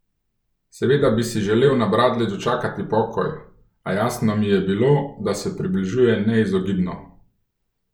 Seveda bi si želel na bradlji dočakati pokoj, a jasno mi je bilo, da se približuje neizogibno.